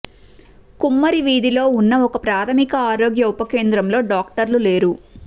కుమ్మరివీధిలో ఉన్న ఒక ప్రాథమిక ఆరోగ్య ఉప కేంద్రంలో డాక్టర్లు లేరు